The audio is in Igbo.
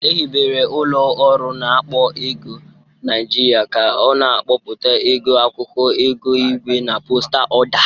Ehibere ụlọ ọrụ na-akpọ ego Niajịrịa ka ọ na-akpọpụta ego akwụkwọ, ego igwe na postal ọda.